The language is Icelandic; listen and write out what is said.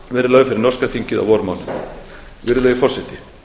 verði lögð fyrir norska þingið á vormánuðum virðulegi forseti